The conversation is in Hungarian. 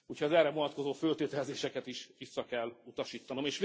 Úgyhogy az erre vonatkozó föltételezéseket is vissza kell utasítanom.